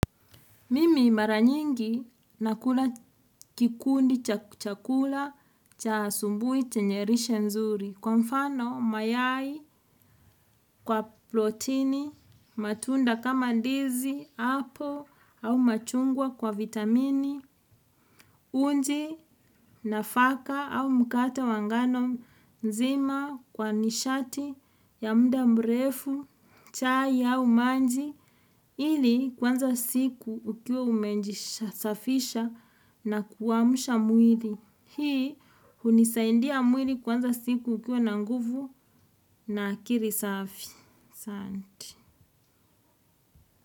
Mimi mara nyingi nakula kikundi chakula cha asubuhi chenye lishe nzuri. Kwa mfano mayai kwa protini matunda kama ndizi apple au machungwa kwa vitamini uji nafaka au mkate wa ngano nzima kwa nishati ya muda mrefu chai au maji. Ili kuanza siku ukiwa umejisafisha na kuamsha mwili. Hii hunisaidia mwili kuanza siku ikiwa na nguvu na akili safi asanti.